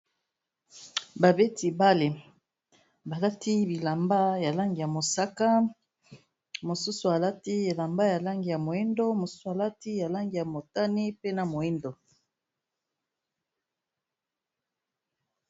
babeti bale balati bilamba ya langi ya mosaka mosusu alati elamba ya langi ya moyindo mosusu alati yalangi ya motani pena moindo